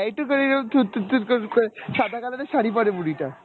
এইটুকুই থুর থুর থুর সাদা color এর শাড়ী পরে বুড়িটা।